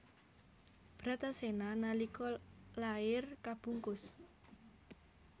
Bratasena nalika lair kabungkus